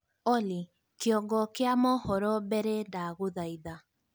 Olly Kĩongo kĩa mohoro mbere ndagũthaitha